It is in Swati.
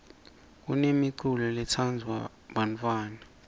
kunemiculo letsandvwa bantfwana